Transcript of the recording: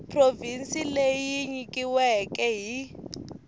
provhinsi leyi yi nyikiweke hi